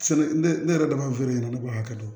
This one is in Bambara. Sɛnɛ ne ne yɛrɛ de b'a fɔ ne ɲɛna ne b'a kɛ